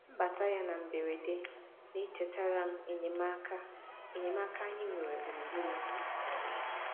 Mbata ya na mberede na-echetara m enyemaaka enyemaaka anyị nwere gburugburu anyị.